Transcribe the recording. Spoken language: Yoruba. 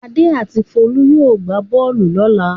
Adé and Folú yóò gbá bọ́ọ́lù lọ́la.